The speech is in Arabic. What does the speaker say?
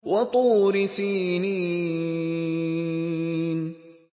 وَطُورِ سِينِينَ